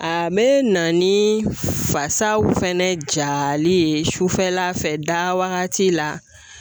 A be na ni fasaw fɛnɛ jali ye sufɛla fɛ da wagati la